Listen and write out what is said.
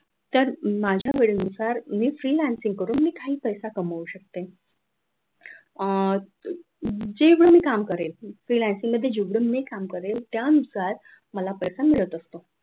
तर माझ्या वेळेनुसार मी freelancing करून मी काही पैसा कमवू शकते अह जेवढं मी काम करेन freelancing मध्ये जेवढे काम करेल त्यानुसार मला पैसा मिळत असतो.